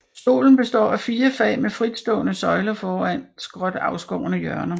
Stolen består af fire fag med fritstående søjler foran skråt afskårne hjørner